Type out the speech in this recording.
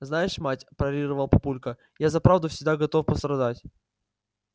знаешь мать парировал папулька я за правду всегда готов пострадать